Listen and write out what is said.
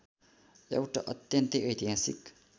एउटा अत्यन्तै ऐतिहासिक